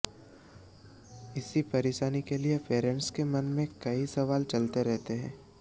इस परेशानी के लिए पेरेंटस के मन में कई सवाल चलते रहते हैं